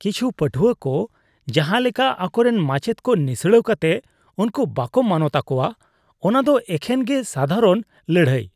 ᱠᱤᱪᱷᱩ ᱯᱟᱹᱴᱷᱩᱣᱟᱹᱠᱚ ᱡᱟᱦᱟᱸ ᱞᱮᱠᱟ ᱟᱠᱚᱨᱮᱱ ᱢᱟᱪᱮᱫᱽ ᱠᱚ ᱱᱤᱥᱲᱟᱹᱣ ᱠᱟᱛᱮ ᱩᱱᱠᱩ ᱵᱟᱠᱚ ᱢᱟᱱᱚᱛ ᱟᱠᱚᱣᱟ ᱚᱱᱟᱫᱚ ᱮᱠᱷᱮᱱ ᱜᱮ ᱥᱟᱫᱷᱟᱨᱚᱱ ᱞᱟᱹᱲᱦᱟᱹᱭ ᱾